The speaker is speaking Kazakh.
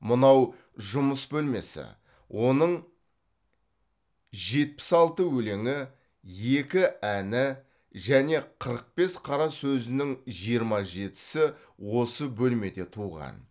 мынау жұмыс бөлмесі оның жетпіс алты өлеңі екі әні және қырық бес қара сөзінің жиырма жетісі осы бөлмеде туған